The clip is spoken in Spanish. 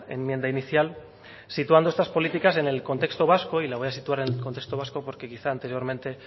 enmienda inicial situando estas políticas en el contexto vasco y la voy a situar en contexto vasco porque quizá anteriormente